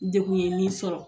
Degun ye min sɔrɔ.